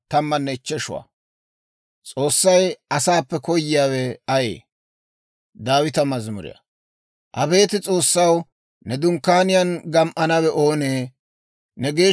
Abeet S'oossaw, ne dunkkaaniyaan gam"anawe oonee? Ne geeshsha deriyaan neenana de'anawe oonee?